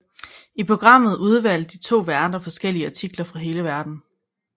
I programmet udvalgte de to værter forskellige artikler fra hele verden